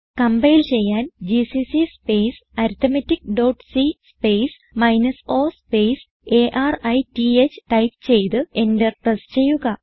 compile ചെയ്യാൻ GCC space arithmetic dot c minus o space arith type ചെയ്ത് enter press ചെയ്യുക